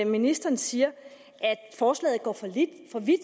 ministeren siger at forslaget går for vidt